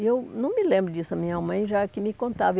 E eu não me lembro disso, a minha mãe já que me contava.